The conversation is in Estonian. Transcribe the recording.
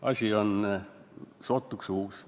Asi on sootuks uus.